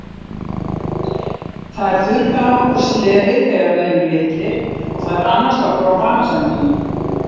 Þær þurrka af okkur slefið þegar við erum litlir og þær annast okkur á banasænginni.